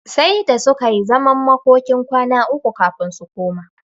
Sai da suka yi zaman makokin kwana uku kafin su koma.